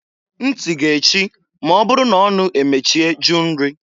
Nti ga-echi m'ọ bụrụ na ọnụ emechie jụ nri.